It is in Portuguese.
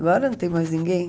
Agora não tem mais ninguém.